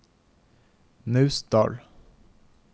Naustdal